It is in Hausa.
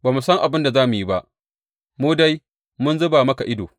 Ba mu san abin da za mu yi ba, mu dai mun zuba maka ido.